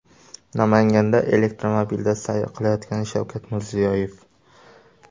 Namanganda elektromobilda sayr qilayotgan Shavkat Mirziyoyev.